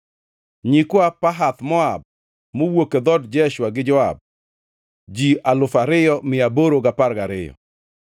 nyikwa Pahath-Moab (mowuok e dhood Jeshua gi Joab), ji alufu ariyo mia aboro gi apar gariyo (2,812),